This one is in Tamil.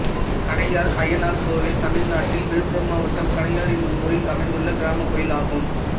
கணையார் அய்யனார் கோயில் தமிழ்நாட்டில் விழுப்புரம் மாவட்டம் கணையார் என்னும் ஊரில் அமைந்துள்ள கிராமக் கோயிலாகும்